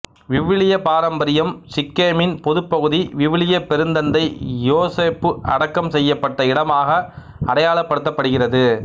விவிலிய பாரம்பரியம் சிக்கேமின் பொதுப் பகுதி விவிலிய பெருந்தந்தை யோசேப்பு அடக்கம் செய்யப்பட்ட இடமாக அடையாளப்படுத்தப்படுகிறது